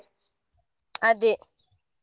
ಅದೇ.